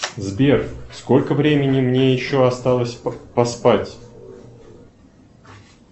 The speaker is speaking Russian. сбер сколько времени мне еще осталось поспать